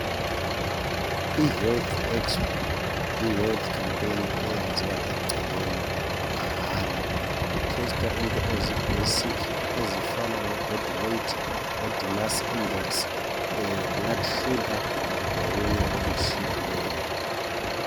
Ihealth expo yihealth campaign eyenziwa egcekeni mahala. Kutestwa into ezibasic ezifana lebody weight, body mask index, e blood sugar lokunye okutshiyeneyo.